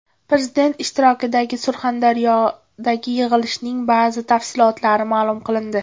Prezident ishtirokidagi Surxondaryodagi yig‘ilishning ba’zi tafsilotlari ma’lum qilindi.